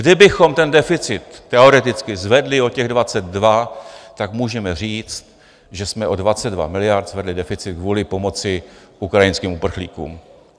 Kdybychom ten deficit teoreticky zvedli o těch 22, tak můžeme říct, že jsme o 22 miliard zvedli deficit kvůli pomoci ukrajinským uprchlíkům.